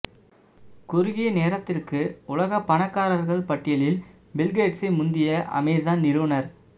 குறுகிய நேரத்திற்கு உலக பணக்காரர்கள் பட்டியலில் பில்கேட்ஸை முந்திய அமேசான் நிறுவனர்